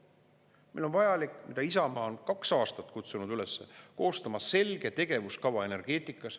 Meil on vajalik, mida Isamaa on kaks aastat kutsunud üles, koostada selge tegevuskava energeetikas.